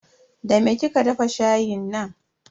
Da me kika dafa shayin nan?